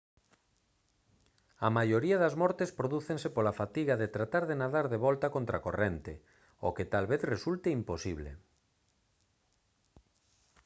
a maioría das mortes prodúcense pola fatiga de tratar de nadar de volta contracorrente o que tal vez resulte imposible